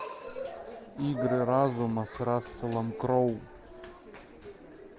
игры разума с расселом кроу